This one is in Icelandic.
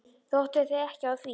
Þú áttaðir þig ekki á því.